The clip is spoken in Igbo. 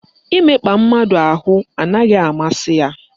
Imekpa mmadụ ahụ anaghị amasị ya.